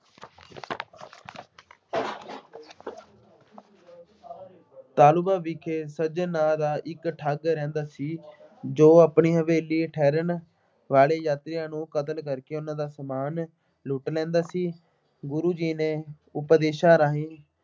ਤਾਲੂੰਗਾ ਵਿਖੇ ਸੱਜਣ ਨਾਂ ਦਾ ਇੱਕ ਠੱਗ ਰਹਿੰਦਾ ਸੀ ਜੋ ਆਪਣੀ ਹਵੇਲੀ ਠਹਿਰਨ ਵਾਲੇ ਯਾਤਰੀਆ ਨੂੰ ਕਤਲ ਕਰਕੇ ਉਹਨਾ ਦਾ ਸਾਮਾਨ ਲੁੱਟ ਲੈਂਦਾ ਸੀ। ਗੁਰੂ ਜੀ ਨੇ ਉਪਦੇਸ਼ਾਂ ਰਾਹੀਂ